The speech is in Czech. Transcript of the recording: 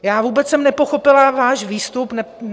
Já jsem vůbec nepochopila váš výstup.